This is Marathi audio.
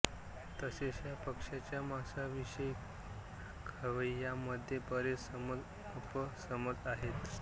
तसेच या पक्ष्याच्या मांसाविषयी खवैयांमध्ये बरेच समजअपसमज आहेत